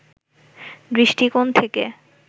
দৃষ্টিকোণ থেকে